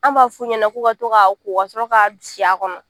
An b'a fɔu ɲɛna k'u ka to k'a ko kasɔrɔ ka si a kɔnɔ